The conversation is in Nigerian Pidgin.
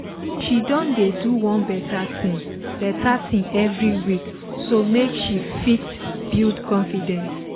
she don dey do one better thing better thing every week so make she fit build confidence